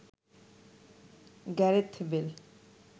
Gareth Bale